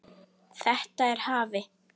Þetta hafi